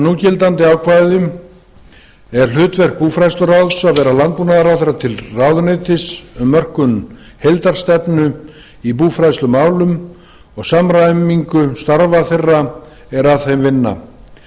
núgildandi ákvæðum er hlutverk búfræðsluráðs að vera landbúnaðarráðherra til ráðuneytis um mörkun heildarstefnu í búfræðslumálum og samræmingu starfa þeirra er að þeim vinna